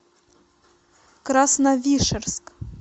красновишерск